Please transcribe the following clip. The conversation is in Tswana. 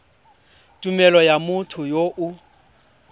tumelelo ya motho yo o